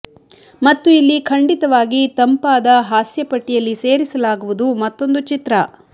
ಮತ್ತು ಇಲ್ಲಿ ಖಂಡಿತವಾಗಿ ತಂಪಾದ ಹಾಸ್ಯ ಪಟ್ಟಿಯಲ್ಲಿ ಸೇರಿಸಲಾಗುವುದು ಮತ್ತೊಂದು ಚಿತ್ರ